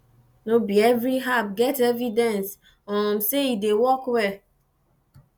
no be every herb get evidence um sey e dey work well